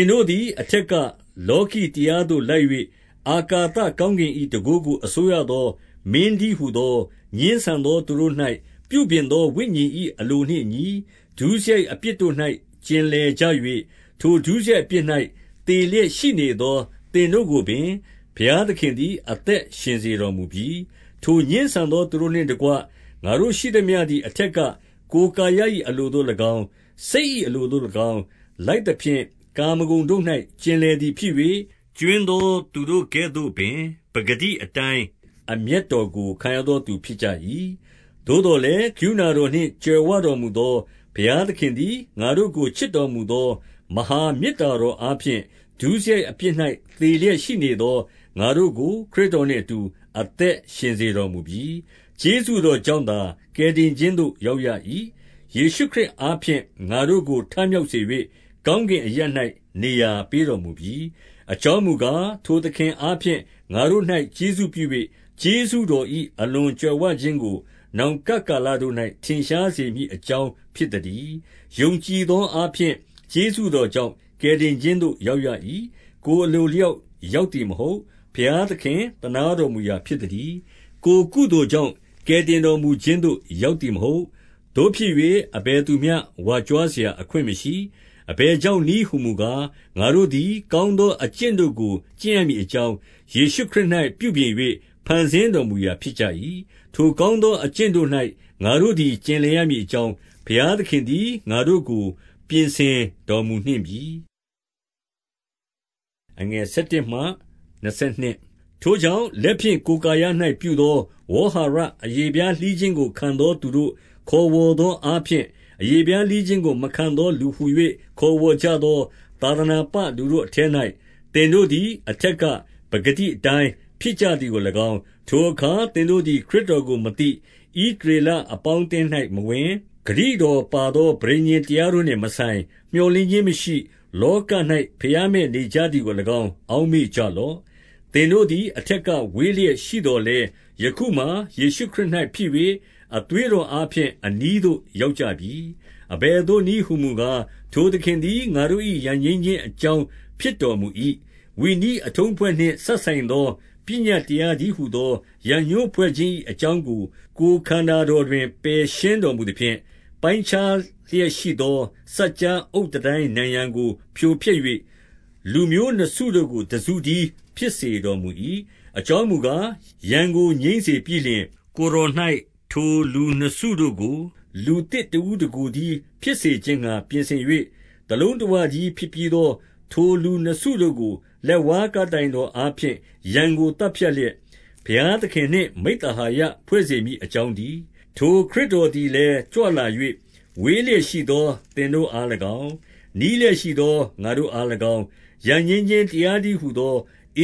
င်တို့သည် အထက်ကလောကီတရားသို့လိုက်၍ အာကာသကောင်းကင်၏ တန်ခိုးကို အစိုးရသော မင်းတည်းဟူသော ငြင်းဆန်သော သူတို့၌ ပြုပြင်သော ဝိညာဉ်၏အလိုနှင့်အညီ၊ 2 ဒုစရိုက်အပြစ်တို့၌ကျင်လည် ကြ၍၊ ထိုဒုစရိုက်အပြစ်၌ သေလျက်ရှိ နေသော သင်တို့ကိုပင် ဘုရားသခင်သည်အသက်ရှင်စေတော်မူပြီ။ 3 ထိုငြင်းဆန်သော သူတို့နှင့်တကွ၊ ငါတို့ရှိသမျှ သည်အထက်က ကိုယ်ကာယ၏အလိုသို့၎င်း၊ စိတ်၏ အလိုသို့၎င်း၊ လိုက်သဖြင့် ကာမဂုဏ်တို့၌ ကျင်လည်သည်ဖြစ်၍၊ ကြွင်းသောသူတို့ကဲ့သို့ပင် ပကတိအတိုင်း အမျက်တော်ကို ခံရသောသူဖြစ်ကြ၏။ 4 သို့သော်လည်း ကရုဏာတော်နှင့် ကြွယ်ဝတော်မူသော ဘုရားသခင်သည် ငါတို့ကို ချစ်တော်မူသော မဟာမေတ္တာတော်အားဖြင့်၊ 5 ဒုစရိုက်အပြစ်၌သေလျက်ရှိနေသော ငါတို့ကို ခရစ်တော်နှင့်အတူ အသက်ရှင်စေတော်မူပြီ။ ကျေးဇူး တော်ကြောင့်သာ ကယ်တင်ခြင်းသို့ရောက်ရ၏။ 6 ယေရှုခရစ်အားဖြင့် ငါတို့ကို ထမြောက်စေ၍ ကောင်းကင်အရပ်၌ နေရာပေးတော်မူပြီ။ 7 အကြောင်းမူကား၊ ထိုသခင်အားဖြင့် ငါတို့၌ ကျေးဇူးပြု၍၊ ကျေးဇူးတော်၏အလွန်ကြွယ်ဝခြင်းကို နောင်ကပ်ကာလတို့၌ ထင်ရှားစေမည်အကြောင်းဖြစ်သတည်း။ 8 ယုံကြည်သောအားဖြင့် ကျေးဇူးတော်ကြောင့် ကယ်တင်ခြင်းသို့ ရောက်ရ၏။ ကိုယ်အလိုအလျောက် ရောက်သည်မဟုတ်။ ဘုရားသခင် သနားတော်မူရာဖြစ်သတည်း။ 9 ကိုယ်ကုသိုလ်ကြောင့် ကယ်တင်တော်မူခြင်းသို့ ရောက်သည်မဟုတ်။ သို့ဖြစ်၍ အဘယ်သူမျှ ဝါကြွားစရာ အခွင့်မရှိ။ 10 အဘယ်ကြောင့်နည်းဟူမူကား၊ ငါတို့သည် ကောင်းသောအကျင့်တို့ကို ကျင့်ရမည်အကြောင်း၊ ယေရှုခရစ်၌ ပြုပြင်၍ ဖန်ဆင်းတော်မူရာဖြစ်ကြ၏။ ထိုကောင်းသော အကျင့်တို့၌ ငါတို့သည် ကျင်လည်ရမည် အကြောင်း၊ ဘုရားသခင်သည် ငါတို့ကို ပြင်ဆင်တော်မူနှင့်ပြီ။ 11 ထိုကြောင့်၊ လက်ဖြင့် ကိုယ်ကာယ၌ ပြုသော ဝေါဟာရ အရေဖျားလှီခြင်းကို ခံသောသူတို့ ခေါ်ဝေါ် သောအားဖြင့်၊ အရေဖျားလှီးခြင်းကို မခံသောလူဟူ၍ ခေါ်ဝေါ်ကြသော သာသနာပလူတို့အထဲ၌ သင်တို့သည် အထက်က ပကတိအတိုင်းဖြစ်ကြသည်ကို၎င်း၊ 12 ထိုအခါ သင်တို့သည် ခရစ်တော်ကိုမသိ၊ ဣသရေလအပေါင်း၌ မဝင်၊ ဂတိတော်ပါသော ပဋိညာဉ် တရားတို့နှင့်မဆိုင်၊ မြော်လင့်ခြင်းမရှိ၊ လောက၌ ဘုရားမဲ့ နေကြသည်ကို၎င်း၊ အောက်မေ့ကြလော့။ 13 သင်တို့သည် အထက်ကဝေးလျက်ရှိသော်လည်း၊ ယခုမှာ ယေရှုခရစ်၌ဖြစ်၍ အသွေးတော်အားဖြင့် အနီးသို့ ရောက်ကြပြီ။ 14 အဘယ်သို့နည်းဟူမူကား၊ ထိုသခင်သည် ငါတို့ ရန်ငြိမ်းခြင်းအကြောင်း ဖြစ်တော်မူ၏။ 15 ဝိနည်းအထုံးအဖွဲ့နှင့်စပ်ဆိုင်သော ပညတ်တရားတည်းဟူသော ကိုယ် ခန္ဓာတော်တွင် ပယ်ရှင်းတော်မူသဖြင့်၊ ပိုင်းခြားလျက်ရှိသော စပ်ကြားအုတ်တန်တိုင်းနံရံကို ဖြိုဖျက်၍ လူမျိုး နှစ်စုတို့ကို တစုတည်းဖြစ်စေတော်မူ၏။ အကြောင်းမူကား၊ ရန်ကို ငြိမ်းစေပြီးလျှင်၊ 16 ကိုယ်တော်၌ထိုလူနှစ်စုတို့ကို လူသစ်တဦး တကိုယ်တည်းဖြစ်စေခြင်းငှါ ပြင်ဆင်၍၊ တလုံးတဝ တည်း ဖြစ်ပြီးသော ထိုလူနှစ်စုတို့ကို၊ လက်ဝါးကပ်တိုင်တော်အားဖြင့် ရန်ကို သတ်ဖြတ်လျက်၊ ဘုရားသခင်နှင့် မိဿဟာယဖွဲ့စေမည်အကြောင်းတည်း။ 17 ထိုခရစ်တော်သည်လည်းကြွလာ၍၊ ဝေးလျက်ရှိသော သင်တို့အား၎င်း၊ နီးလျက်ရှိသောငါတို့အား၎င်း၊ ရန်ငြိမ်းခြင်းတရားတည်းဟူသော